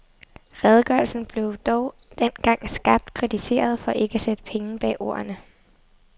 Redegørelsen blev dog dengang skarpt kritiseret for ikke at sætte penge bag ordene.